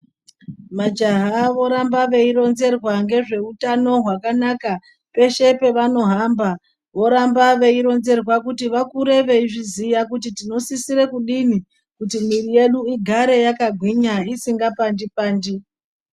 Majaha voramba veironzerwa ngezveutano hwakanaka peshe pavanohamba. Voramba veironzerwa kuti varambe veizviziya kuti takura tinosise kudini kuti mwiri yedu igare yakagwinya isikapandi-pandi.